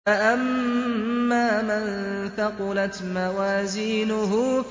فَأَمَّا مَن ثَقُلَتْ مَوَازِينُهُ